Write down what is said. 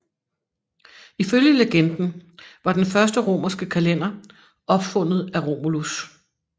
Ifølge legenden var den første romerske kalender opfundet af Romulus